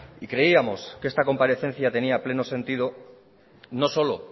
creíamos que esta comparecencia tenía pleno sentido no solo